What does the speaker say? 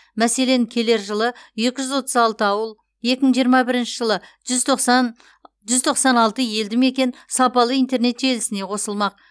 мәселен келер жылы екі жүз отыз алты ауыл екі мың жиырма бірінші жылы жүз тоқсан жүз тоқсан алты елді мекен сапалы интернет желісіне қосылмақ